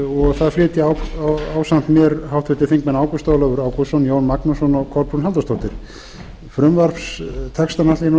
og það flytja ásamt mér háttvirtir þingmenn ágúst ólafur ágústsson jón magnússon og kolbrún halldórsdóttir frumvarpstextann ætla ég